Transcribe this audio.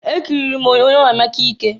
Ekiriri m onyoonyo Emeka Ike.